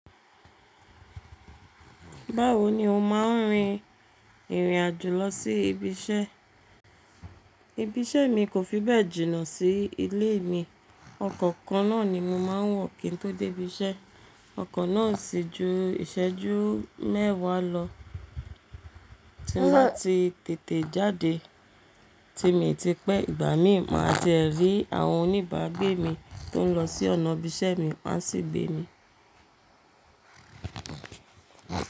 Báwo ni ó máa ń rin ìrìn àjò lọ sí ibi iṣẹ́? Ibi iṣẹ́ mi kò fi bẹ́ẹ̀ jìnnà sí ilé mi. Ọkọ̀ kan náà ni mo máa ń wọ̀ kí n tó dé ibi iṣẹ́. Ọkọ̀ náà o sì jú ìṣẹ́jú mẹ́wàá lọ. Tí mo bá ti tètè jáde, tí mio ti pẹ́, ìgbà mí máa tiẹ̀ rí àwọn oníbàágbé mi tó ń lọ sí ọ̀nà ibi iṣẹ́ mi wọ́n á sì gbé mi.